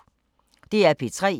DR P3